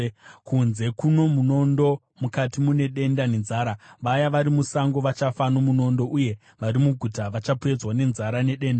“Kunze kuno munondo, mukati mune denda nenzara; vaya vari musango vachafa nomunondo, uye vari muguta vachapedzwa nenzara nedenda.